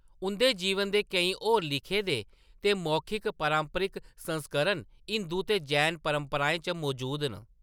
उंʼदे जीवन दे केईं होर लिखे दे ते मौखिक पारंपरिक संस्करण हिंदू ते जैन परंपराएं च मजूद न।